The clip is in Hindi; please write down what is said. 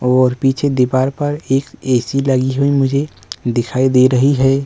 और पीछे दीवाल पर ऐ_सी लगी हुई मुझे दिखाई दे रही है।